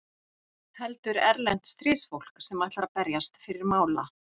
Heldur erlent stríðsfólk sem ætlar að berjast fyrir mála.